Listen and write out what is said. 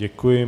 Děkuji.